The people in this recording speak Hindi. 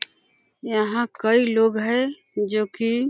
यहाँ कई लोग है जो कि --